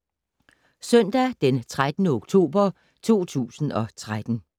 Søndag d. 13. oktober 2013